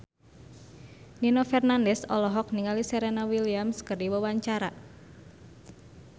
Nino Fernandez olohok ningali Serena Williams keur diwawancara